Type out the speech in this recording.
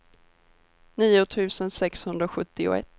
nio tusen sexhundrasjuttioett